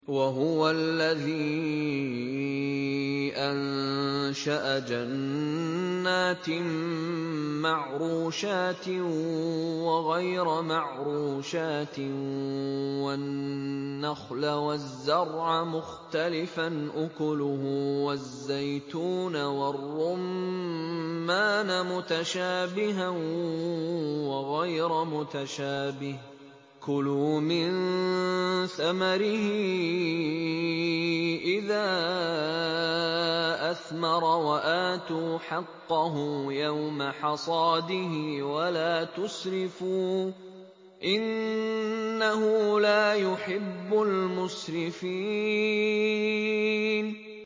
۞ وَهُوَ الَّذِي أَنشَأَ جَنَّاتٍ مَّعْرُوشَاتٍ وَغَيْرَ مَعْرُوشَاتٍ وَالنَّخْلَ وَالزَّرْعَ مُخْتَلِفًا أُكُلُهُ وَالزَّيْتُونَ وَالرُّمَّانَ مُتَشَابِهًا وَغَيْرَ مُتَشَابِهٍ ۚ كُلُوا مِن ثَمَرِهِ إِذَا أَثْمَرَ وَآتُوا حَقَّهُ يَوْمَ حَصَادِهِ ۖ وَلَا تُسْرِفُوا ۚ إِنَّهُ لَا يُحِبُّ الْمُسْرِفِينَ